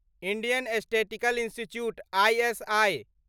Indian statistical institute ISI